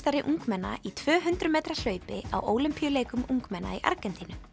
ungmenna í tvö hundruð metra hlaupi á Ólympíuleikum ungmenna í Argentínu